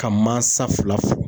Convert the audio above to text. Ka mansa fila fo